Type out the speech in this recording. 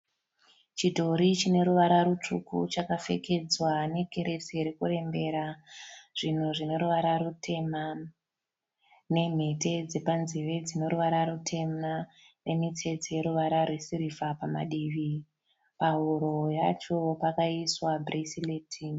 Chidhori chineruvara rutsvuku chakapfekedzwa nekiresi irikurembera zvinhu zvineruvara rutema nemhete dzepanzeve dzineruvara rutema nemitsetse yeruvara rwesirivha pamadivi. Pahuro pacho pakaiswa bhuresireti.